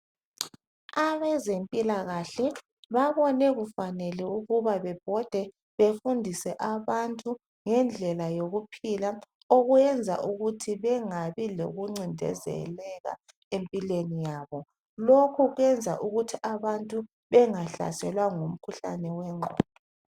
Abezempilakahle babone kufanele ukuba bebhode befundise abantu ngendlela yokuphila okwenza ukuthi bengabi lokuncindezeleka empilweni yabo. Lokho kwenza ukuthi abantu bengahlaselwa ngumkhuhlane wengqondo.